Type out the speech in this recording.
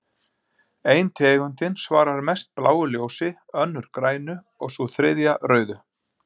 Ein tegundin svarar mest bláu ljósi, önnur grænu og sú þriðja rauðu.